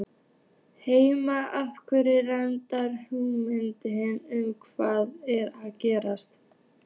Heimir: Hefurðu einhverja hugmynd um hvað er að gerast?